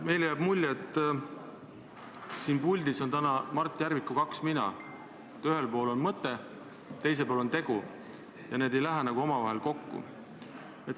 Meile jääb mulje, et siin puldis on täna Mart Järviku kaks mina: ühel pool on mõte, teisel pool on tegu ja need ei lähe nagu omavahel kokku.